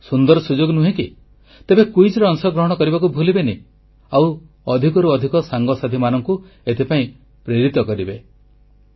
ଏହା କଣ ଏକ ସୁନ୍ଦର ସୁଯୋଗ ନୁହେଁ କି ପ୍ରତିଯୋଗିତାରେ ଅଂଶଗ୍ରହଣ କରିବାକୁ ଭୁଲିବେନି ଓ ଅଧିକରୁ ଅଧିକ ସାଙ୍ଗସାଥୀମାନଙ୍କୁ ଏଥିପାଇଁ ପ୍ରେରିତ କରିବେ